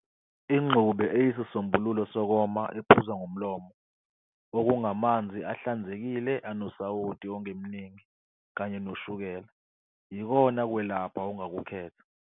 ingxube eyisisombululo sokoma ephuzwa ngomlomo, okungamanzi ahlanzekile anosawoti ongemningi kanye noshukela, yikona kwelapha ongakukhetha.